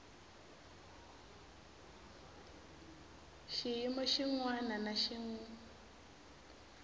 xiyimo xin wana na xin